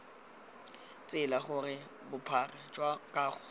tsela gore bophara jwa kago